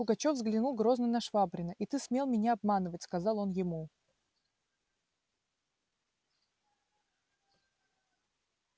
пугачёв взглянул грозно на швабрина и ты смел меня обманывать сказал он ему